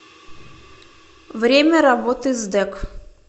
время работы сдэк